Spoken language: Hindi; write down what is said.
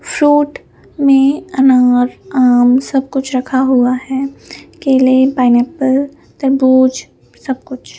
फ्रूट में अनार आम सब कुछ रखा हुआ है केले पाइन एप्पल तरबूज सब कुछ।